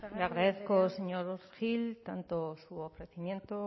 sagardui andrea le agradezco señor gil tanto su ofrecimiento